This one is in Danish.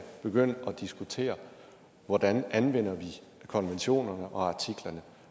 begynde at diskutere hvordan vi anvender konventionerne og artiklerne